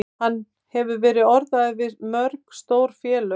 Hann hefur verið orðaður við mörg stór félög.